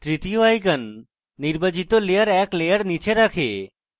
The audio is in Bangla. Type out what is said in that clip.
তৃতীয় icon নির্বাচিত layer এক layer নীচে রাখে